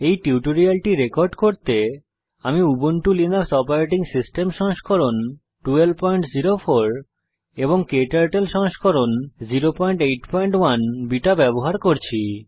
এই টিউটোরিয়ালটি রেকর্ড করতে আমি উবুন্টু লিনাক্স ওএস সংস্করণ 1204 এবং ক্টার্টল সংস্করণ 081 বিটা ব্যবহার করছি